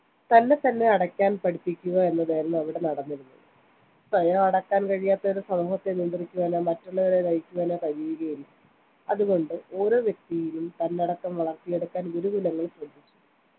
തന്നെത്തന്നെ അടക്കാൻ പഠിപ്പിക്കുക എന്നതായിരുന്നു അവിടെ നടന്നിരുന്നത് സ്വയം അടക്കാൻ കഴിയാത്തവന് സമൂഹത്തെ നിയ ന്ത്രിക്കുവാനോ മറ്റുള്ളവരെ നയിക്കുവാനോ കഴിയുകയില്ല അതു കൊണ്ട് ഓരോ വ്യക്തിയിലും തന്നടക്കം വളർത്തിയെടുക്കുവാൻ ഗുരു കുലങ്ങൾ ശ്രദ്ധിച്ചു